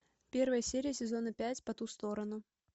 первая серия сезона пять по ту сторону